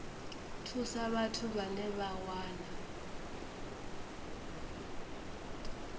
thusa vhathu vhane vha wana